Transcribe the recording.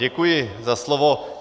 Děkuji za slovo.